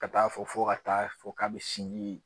Ka taa fɔ ka taa fɔ k'a be sinji